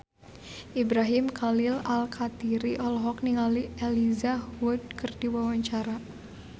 Ibrahim Khalil Alkatiri olohok ningali Elijah Wood keur diwawancara